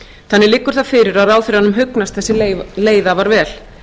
þannig liggur fyrir að ráðherranum hugnast þessi leið afar vel